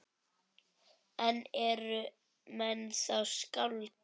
En eru menn þá skáld?